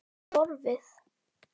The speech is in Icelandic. En svo var það horfið.